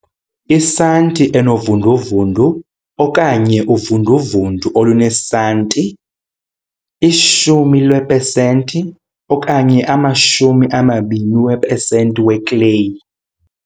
Isanti enovunduvundu okanye uvunduvundu olunesanti, i-10 leepesenti okanye ama-20 eepesenti weClay.